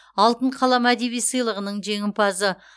алтын қалам әдеби сыйлығының жеңімпазы